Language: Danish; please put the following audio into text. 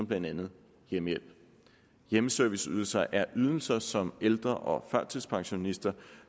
blandt andet hjemmehjælp hjemmeserviceydelser er ydelser som ældre og førtidspensionister